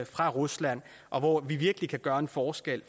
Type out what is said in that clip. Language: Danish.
fra rusland og hvor vi virkelig kan gøre en forskel